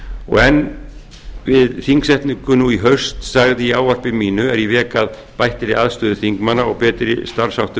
og enn við þingsetningu nú í haust sagði í ávarpi mínu er ég vék að bættri aðstöðu þingmanna og betri starfsháttum